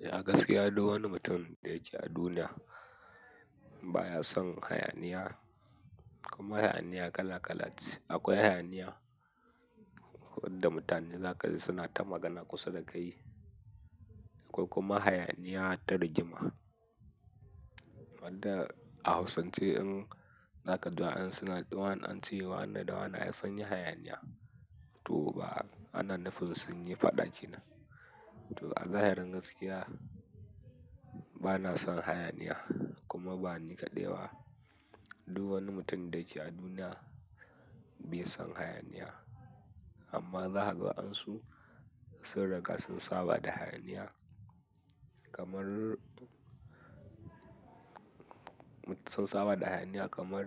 Gaskiya duk wani mutum da yake a duniya baya son hayaniya kuma hayaniya kala-kala ce. Akwai hayaniya wadda mutane za ka ji suna ta magana kusa da kai akwai kuma hayaniya ta rigima. Wadda a hausance in za ka duba an ace wane da wane ai sunyi hayaniya. To ba, ana nufin sun yi faɗa ke nan. To a zahirin gaskiya bana son hayaniya kuma ba ni kaɗai ba. Duk wani mutum da yake a duniya bai son hayaniya. Amma zakaga wadansu sun riga sun saba da hayaniya kamar, sun saba da hayaniya kamar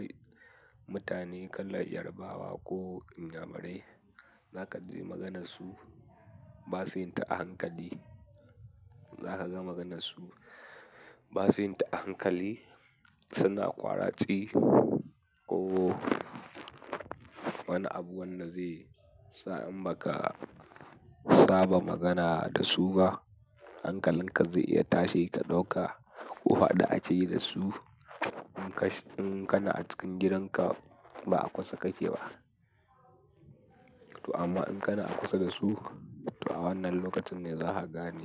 mutane kalar Yarbawa ko Inyamurai. Za ka ji maganarsu basu yi ta a hankali. Za ka ga maganarsu basu yi ta a hankali, suna ƙwaratsi ko wani abu wanda zai sa in ba ka saba magana da su ba hankalin ka zai iya tashi ka ɗauka. Ko fada ake yi da su in kana a cikin gidanka ba a kusa kake ba. To amma in kana a kusa da su, to a wannan lokacin ne za ka gane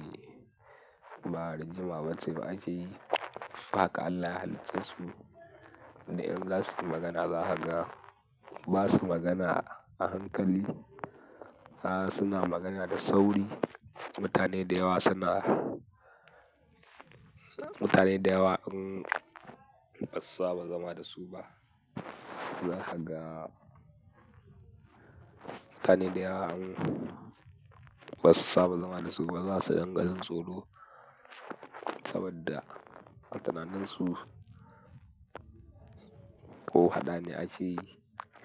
ba rigima ba ce akeyi. Haka Allah ya halicce su duk in za su yi magana za ka ga ba su magana a hankali. A'a suna magana da sauri. Mutane da yawa suna, mutane da yawa in ba su saba zama da su ba zakaga. Mutane da yawa in ba su saba zama da su ba za su ringa jin tsoro saboda a tunanin su ko hadane ake yi.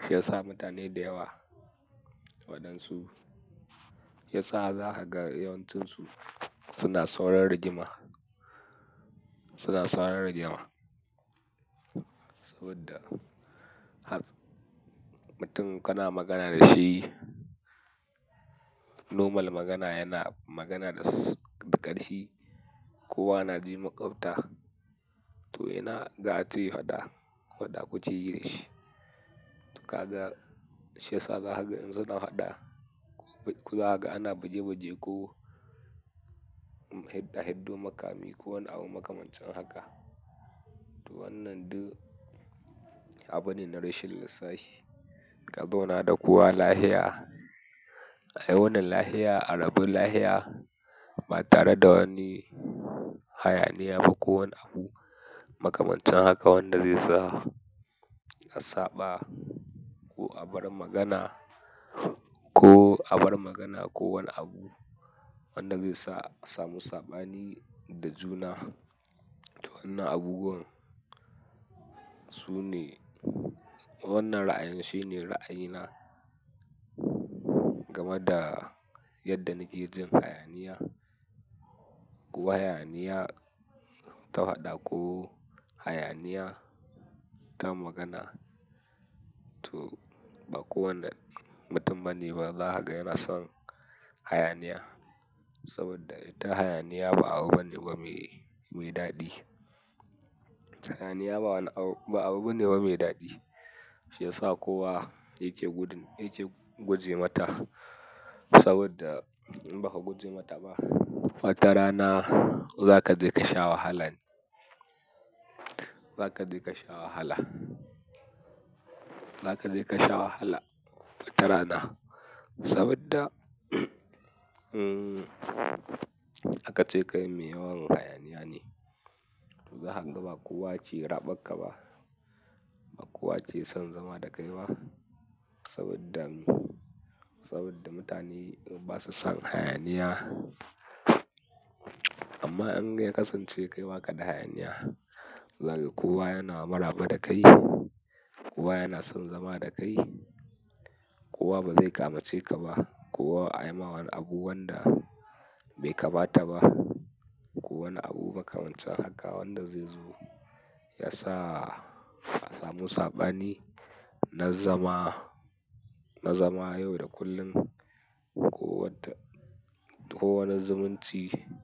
Shi ya sa mutane da yawa waɗansu, shi ya sa za ka ga yawancinsu suna saurin rigima, suna saurin rigima. Saboda mutum kana magana da shi, nomal magana yana magana da ƙarhi kowa na ji makota. To ina ga ace faɗa, faɗa kukeyi da shi. To ka ga shi ya sa za ka ga in suna faɗa ko za ka ga ana bige-bige ko hiɗɗo makami ko wani abu makamancin haka. To wannan ɗu abu ne na rashin lissahi. Ka zauna da kowa lafiya. A wuni lafiya, a rabu lafiya ba tare da wani hayaniya ba ko wani abu makamancin haka wanda zai sa a saɓa ko a bar magana ko a bar magana ko wani abu wanda zai sa a samu saɓani da juna. To wannan abubuwan sune, wannan ra'ayin shine ra'ayina game da yadda ni ke jin hayaniya. Ko hayaniya ta faɗa ko hayaniya ta magana. To ba kowane mutum bane ba za ka ga yana son hayaniya saboda ita hayaniya ba abu bane bame mai daɗi. Hayaniya ba wani abu, ba abu bane bame daɗi. Shi ya sa kowa yake gudun, yake guje mata saboda in ba ka guje mata ba, watarana za ka je ka sha wahala ne. Za ka je ka sha wahala. Za ka je ka sha wahala watarana saboda aka ce kai mai yawan hayaniya ne. To zakaga ba kowa ke raɓar ka ba, ba kowa ke son zama da kai ba saboda, saboda mutane ba su son hayaniya. Amma in ya kasance kai waƙaɗa hayaniya, za ka ga kowa yana maraba da kai, kowa yana son zama da kai, kowa ba zai ƙyamace ka ba, kowa a yi ma wani abu wanda bai kamata ba ko wani abu makamancin haka wanda zai zo ya sa a samu saɓani na zama, na zama yau da kullum ko wadda, ko wani zumunci.